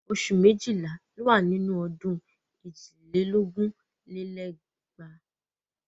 Oṣù méjìlá ló wà nínú ọdún èjì lé lógún lé lẹ́gbàá.